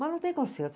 Mas não tem conserto.